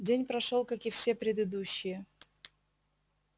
день прошёл как и все предыдущие